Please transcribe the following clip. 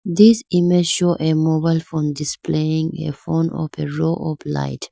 This image show a mobile phone displaying a phone of a row of light.